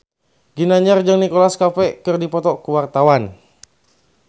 Ginanjar jeung Nicholas Cafe keur dipoto ku wartawan